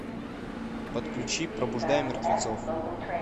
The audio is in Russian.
подключи пробуждая мертвецов